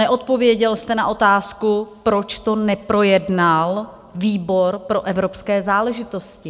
Neodpověděl jste na otázku, proč to neprojednal výbor pro evropské záležitosti.